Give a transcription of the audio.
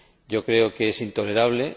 Yo creo que es intolerable.